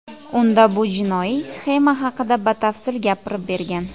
Unda bu jinoiy sxema haqida batafsil gapirib bergan.